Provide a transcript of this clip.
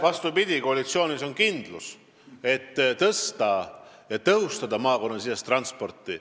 Vastupidi, koalitsioonis on kindlus, et tõsta ja tõhustada maakonnasisest transporti.